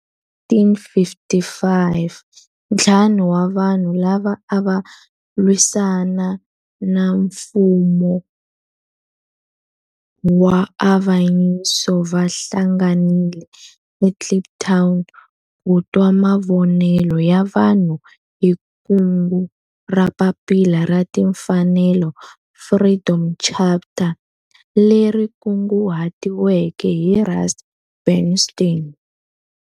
Hi 1955 ntlawa wa vanhu lava ava lwisana na nfumo wa avanyiso va hlanganile eKliptown ku twa mavonelo ya vanhu hi kungu ra Papila ra Tinfanelo, Freedom Charter, leri kunguhatiweke hi Rusty Bernstein.